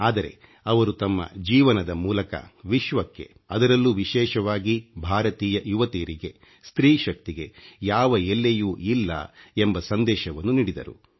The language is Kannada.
ಆದರೆ ಅವರು ತಮ್ಮ ಜೀವನದ ಮೂಲಕ ವಿಶ್ವಕ್ಕೆ ಅದರಲ್ಲೂ ವಿಶೇಷವಾಗಿ ಭಾರತೀಯ ಯುವತಿಯರಿಗೆ ಸ್ತ್ರೀ ಶಕ್ತಿಗೆ ಯಾವ ಎಲ್ಲೆಯೂ ಇಲ್ಲ ಎಂಬ ಸಂದೇಶವನ್ನು ನೀಡಿದರು